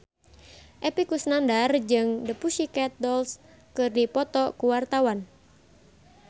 Epy Kusnandar jeung The Pussycat Dolls keur dipoto ku wartawan